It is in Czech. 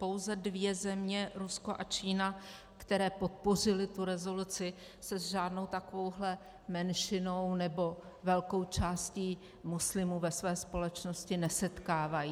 Pouze dvě země - Rusko a Čína - které podpořily tu rezoluci, se s žádnou takovouhle menšinou nebo velkou částí muslimů ve své společnosti nesetkávají.